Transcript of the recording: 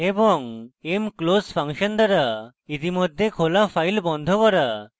mclose function দ্বারা ইতিমধ্যে খোলা file বন্ধ করা